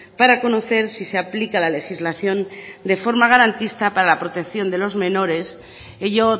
para conocer si se aplica la legislación de forma garantista para la protección de los menores ello